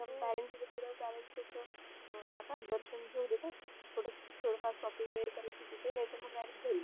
parents सोबत गेल्यावर कस जातात दर्शन घेऊ देतात थोड फार shopping वगरे ते नाही त घरी